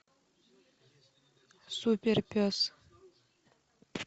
суперпес